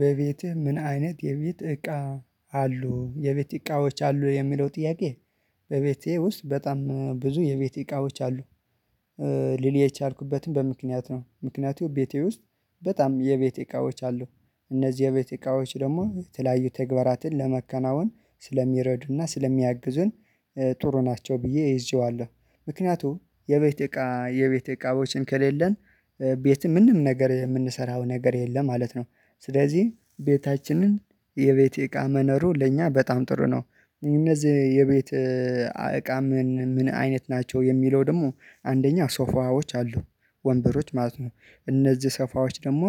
በቤትህ ምን አይነት የቤት እቃ አሉ የቤት እቃዎች አሉ የሚለው ጥያቄ? በቤቴ ውስጥ በጣም ብዙ የቤት እቃዎች አሉ። ልል የቻልኩበትም ያልኩበትም በምክንያት ነው ምክንያቱ ቤቴ ውስጥ በጣም የቤቴ እቃዎች አሉ። እነዚህ የቤቴ እቃዎች ደግሞ የተለያዩ ተግባራትን ለመከናወን ስለሚረዱና ስለሚያግዙን ጥሩ ናቸው ብዬ እይዤዋለሁ። ምክንያቱም የቤት እቃ የቤት እቃዎችን ከሌለን ቤት ምንም ነገር የምንሰራው ነገር የለም ማለት ነው። ስለዚህ ቤታችንን የቤቴ እቃ መኖሩ ለእኛ በጣም ጥሩ ነው። እነዚህ የቤት እቃ ምን ምን አይነት ናቸው? የሚለው ደግሞ አንደኛ ሶፋዎች አሉ ወንበሮች ማለት ነው። እነዚህ ሶፋዎች ደግሞ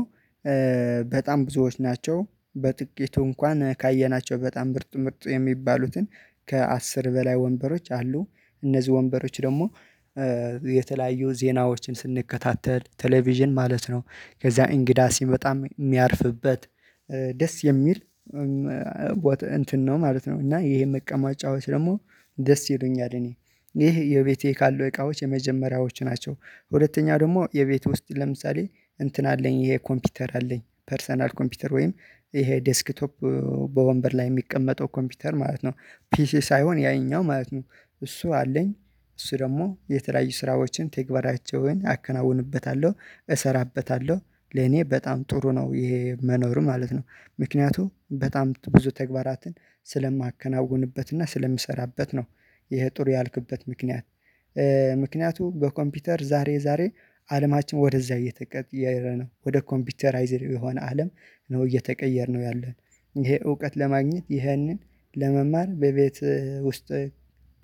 በጣም ብዙዎች ናቸው በጥቂቱ እንኳን ካየናቸው በጣም ምርጥ ምርጥ የሚባሉትን ከአስር በላይ ወንበሮች አሉ። እነዚህ ወንበሮች ደግሞ የተለያዩ ዜናዎችን ስንከታተል ቴሌቪዥን ማለት ነው። ከዛ እንግዳ ሲመጣም የሚያርፍበት ደስ የሚል እንትን ነው ማለት ነው። እና ይሄ መቀመጫዎች ደግሞ ደስ ይሉኛል። እኔ ይሄ የቤቴ ካሉ እቃዎች የመጀመሪያዎች ናቸው። ሁለተኛ ደግሞ የቤት ውስጥ ለምሳሌ እንትን አለኝ ይሄ ኮምፒውተር አለኝ ፐርሰናል ኮምፒውተር ወይም ይሄ ዴስክቶፕ በወንበር ላይ የሚቀመጠው ኮምፒውተር ማለት ነው ፒሲ ሳይሆን ያኛው ማለት ነው እሱ አለኝ። እሱ ደግሞ የተለያየ ስራዎችን ተግባራቸውን አከናውንበታለሁ እሰራበታለሁ። ለኔ በጣም ጥሩ ነው ይሄ መኖር ማለት ነው። ምክንያቱም በጣም ብዙ ተግባራትን ስለማከናውንበትና ስለምሰራበት ነው። ይሄ ጥሩ ያልኩበት ምክንያት ምክንያቱም በኮምፒውተር ዛሬ ዛሬ አለማችን ወደዛ እየተጠየረ ነው ወደ ኮምፒውተራይዝድ የሆነ አለም። ነው እየተቀየርነ ያለን። ይሄ እውቀት ለማግኘት ይህንን ለመማር በቤት ውስጥ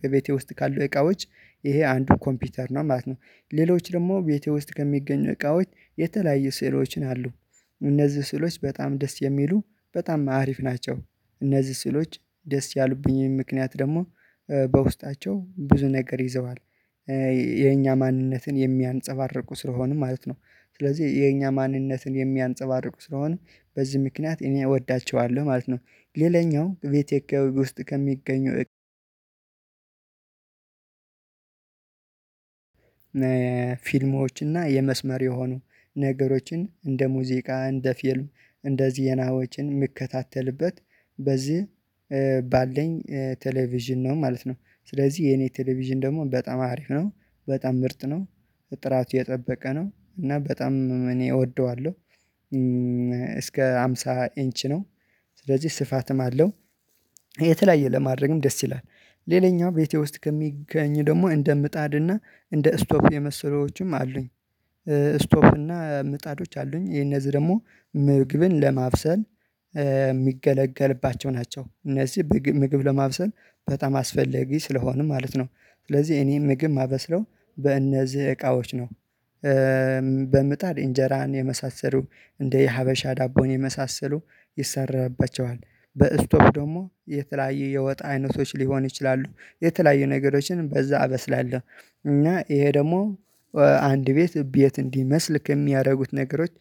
በቤቴ ውስጥ ካለው እቃዎች ይሄ አንዱ ኮምፒውተር ነው ማለት ነው። ሌሎች ደግሞ ቤቴ ውስጥ ከሚገኙ እቃዎች የተለያየ ስዕሎችን አሉ። እነዚህ ስዕሎች በጣም ደስ የሚሉ በጣም አሪፍ ናቸው። እነዚህ ስሎች ደስ ያሉብኝም ምክንያት ደግሞ በውስጣቸው ብዙ ነገር ይዘዋል። የኛ ማንነትን የሚያንፀባርቁ ስለሆኑ ማለት ነው። ስለዚህ የኛ ማንነትን የሚያንፀባርቁ ስለሆነ በዚህ ምክንያት እኔ እወዳቸዋለሁ ማለት ነው። ሌላኛው ቤቴ ውስጥ ከሚገኙ ፊልሞችና የመስመር የሆኑ ነገሮችን እንደ ሙዚቃ እንደ ፊልም እንደ ዜናዎችን የምከታተልበት በዚህ ባለኝ ቴሌቪዥን ነው ማለት ነው። ስለዚህ የኔ ቴሌቪዥን ደግሞ በጣም አሪፍ ነው። በጣም ምርት ነው። ጥራት የጠበቀ ነው እና በጣም እኔ እወደዋለሁ። እስከ ሃምሳ ኢንች ነው። ስለዚህ ስፋትም አለው። የተለያየ ለማድረግም ደስ ይላል። ሌላኛው ቤቴ ውስጥ ከሚገኝ ደግሞ እንደ ምጣድና እንደ እስቶፍ የመሰሉትም አሉኝ። እና ምጣዶች አሉኝ የነዚህ ደግሞ ምግብን ለማብሰል የሚገለገልባቸው ናቸው። እነዚህ ምግብ ለማብሰል በጣም አስፈለጊ ስለሆነ ማለት ነው። ስለዚህ እኔ ምግብ ማበስለው በእነዚህ እቃዎች ነው። በምጣር እንጀራን የመሳሰሉ እንደ የሀበሻ ዳቦን የመሳሰሉ ይሰራባቸዋል በእስቶቭ ደግሞ የተለያዩ የወጥ አይነቶች ሊሆኑ ይችላሉ የተለያዩ ነገሮችን በዛ አበስላለሁ። እና ይሄ ደግሞ አንድ ቤት ቤት እንዲመስል ከሚያደርጉት ነገሮች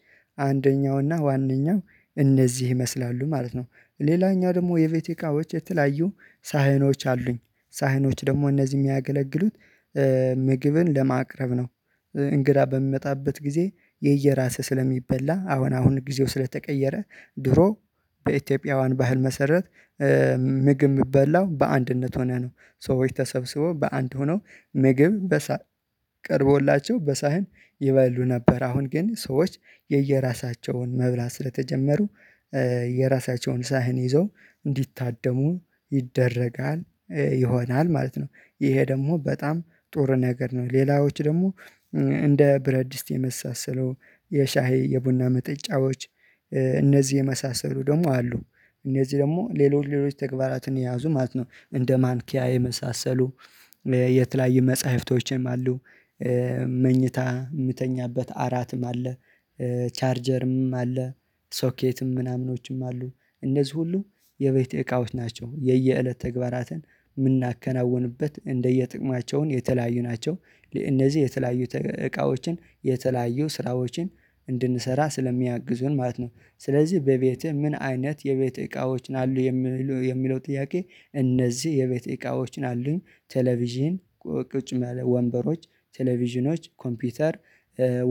አንደኛውና ዋነኛው እነዚህ ይመስላሉ ማለት ነው። ሌላኛው ደግሞ የቤቴ እቃዎች የተለያዩ ሳህኖች አሉኝ። ሳህኖች ደግሞ እነዚህ የሚያገለግሉት ምግብን ለማቅረብ ነው። እንግዳ በሚመጣበት ጊዜ የየራስህ ስለሚበላ አሁን አሁን ጊዜው ስለተቀየረ ድሮ በኢትዮጵያውያን ባህል መሰረት። ምግብ የሚበላው በአንድነት ሆነህ ነው ሰዎች ተሰብስበው በአንድ ሆነው ምግብ በሳህን ቀርቦላቸው በሳህን ይበሉ ነበር። አሁን ግን ሰዎች የየራሳቸውን መብላት ስለተጀመሩ የራሳቸውን ሳህን ይዘው እንዲታደሙ ይደረጋል። ይሆናል ማለት ነው። ይሄ ደግሞ በጣም ጥሩ ነገር ነው። ሌላዎች ደግሞ እንደ ብረድስት የመሳሰለው የሻሄ የቡና መጠጫዎች እነዚህ የመሳሰሉ ደግሞ አሉ። እነዚህ ደግሞ ሌሎች ሌሎች ተግባራትን የያዙ ማለት ነው እንደ ማንኪያ የመሳሰሉ የተለያዩ መጽሐፍቶችንም አሉ። መኝታ የምተኛበት አራትም አለ። ቻርጀርም አለ። ሶኬትም ምናምኖችም አሉ። እነዚህ ሁሉ የቤት እቃዎች ናቸው የየእለት ተግባራትን የምናከናውንበት እንደየጥቅማቸውን የተለያዩ ናቸው። እነዚህ የተለያዩ እቃዎችን የተለያዩ ስራዎችን እንድንሰራ ስለሚያግዙን ማለት ነው። ስለዚህ በቤትህ ምን አይነት የቤት እቃዎችን አሉ? የሚለው ጥያቄ እነዚህ የቤተ እቃዎችን አሉኝ ቴሌቪዥን ቁጭ ማያ ወንበሮች ቴሌቪዥኖች ኮምፒውተር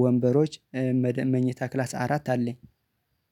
ወንበሮች መኝታ ክላስ አራት አለኝ